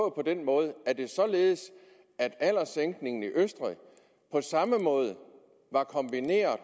denne måde er det således at alderssænkningen i østrig på samme måde var kombineret